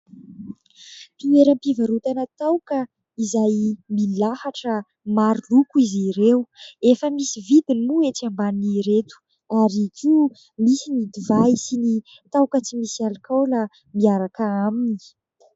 Toeram-pivarotana taoka izay milahatra maro loko izy ireo, efa misy vidiny moa ety ambanin'ireto ary koa misy ny divay sy taoka tsy misy alikaola miaraka aminy.